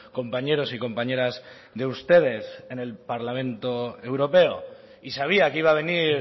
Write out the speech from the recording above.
compañeros y compañeras de ustedes en el parlamento europeo y sabía que iba a venir